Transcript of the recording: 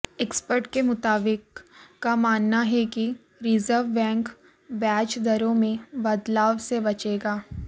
expert के मुताबिक का मानना है कि रिजर्व बैंक ब्याज दरों में बदलाव से बचेगा